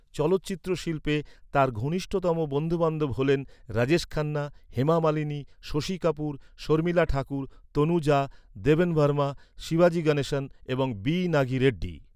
চলচ্চিত্র শিল্পে তাঁর ঘনিষ্ঠতম বন্ধুবান্ধব হলেন রাজেশ খান্না, হেমা মালিনী, শশী কাপুর, শর্মিলা ঠাকুর, তনুজা, দেবন ভার্মা, শিবাজি গণেশন এবং বি নাগি রেড্ডি।